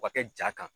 O ka kɛ ja kan